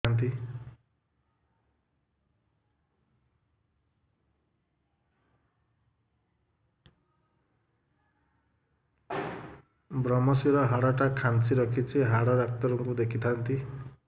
ଵ୍ରମଶିର ହାଡ଼ ଟା ଖାନ୍ଚି ରଖିଛି ହାଡ଼ ଡାକ୍ତର କୁ ଦେଖିଥାନ୍ତି